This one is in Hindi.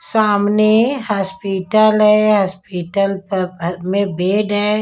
सामने हॉस्पिटल है हॉस्पिटल पर ह में बेड है।